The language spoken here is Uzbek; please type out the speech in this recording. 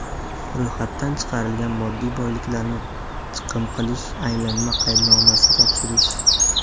ro‘yxatdan chiqarilgan moddiy boyliklarni chiqim qilish) aylanma qaydnomasini topshirish;.